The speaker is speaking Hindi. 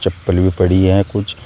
चप्पल भी पड़ी हैं कुछ।